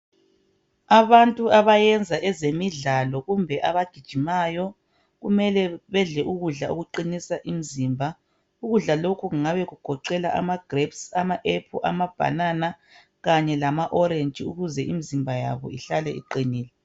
Abantu abayenza ezemidlalo kumbe abagijimayo kumele bedle ukudla okuqinisa imizimba ukudla lokhu kungabe kugoqela ama grapes ama apple ama banana kanye lama orange ukuze umzimba yabo ihlale iqinile.